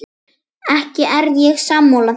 Ekki er ég sammála því.